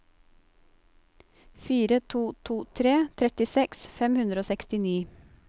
fire to to tre trettiseks fem hundre og sekstini